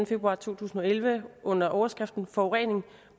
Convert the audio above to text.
februar to tusind og elleve under overskriften forurening